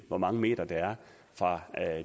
hvor mange meter der er fra